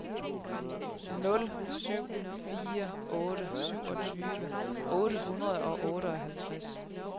nul syv fire otte syvogtyve otte hundrede og otteoghalvtreds